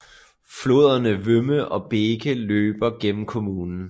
Floderne Wümme og Beeke løber gennem kommunen